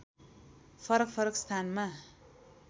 फरक फरक स्थानमा